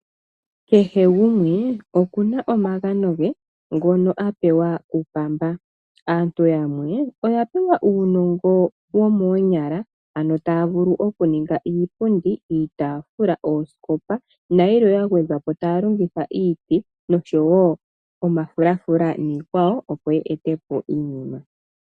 Kehe gumwe okuna omagano ge ngono apewa kupamba . Aantu yamwe oya pewa uunongo womoonyala ano taya vulu okuninga iipundi , iitaafula, oosikopa nayilwe yagwedha po taya longitha iiti oshowo omafulafula niikwawo opo ye etepo iinima.